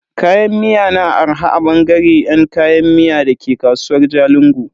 Kayan miya na arha a bangare yan kayan miya dake kasuwar Jalingo.